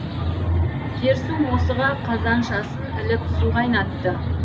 дерсу мосыға қазаншасын іліп су қайнатты